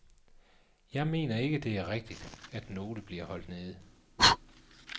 Jeg mener ikke, det er rigtigt, at nogle bliver holdt nede.